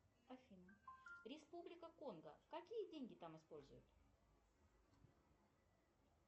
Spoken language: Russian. афина республика конго какие деньги там используют